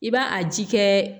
I b'a a ji kɛ